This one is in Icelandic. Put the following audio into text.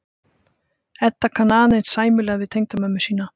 Edda kann aðeins sæmilega við tengdamömmu sína.